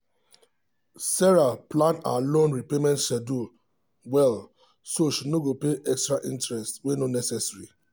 sarah plan her loan repayment schedule well so she no go pay extra interest wey no necessary.